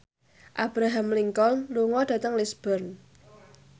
Abraham Lincoln lunga dhateng Lisburn